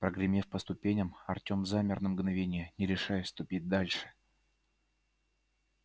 прогремев по ступеням артём замер на мгновение не решаясь ступить дальше